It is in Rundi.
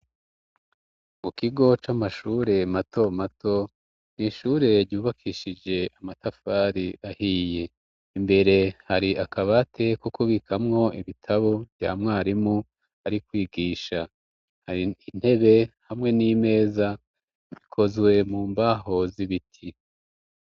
Mu kigo c'amashure matomato n'ishure ryubakishije amatafari ahiye imbere hari akabati ko kubikamwo ibitabo vya mwarimu ari kwigisha hari intebe hamwe n'imeza bikozwe mu mbaho z'ibiti.